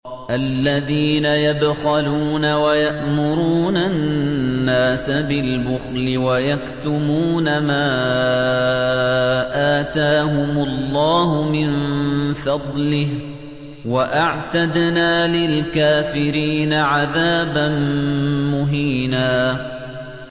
الَّذِينَ يَبْخَلُونَ وَيَأْمُرُونَ النَّاسَ بِالْبُخْلِ وَيَكْتُمُونَ مَا آتَاهُمُ اللَّهُ مِن فَضْلِهِ ۗ وَأَعْتَدْنَا لِلْكَافِرِينَ عَذَابًا مُّهِينًا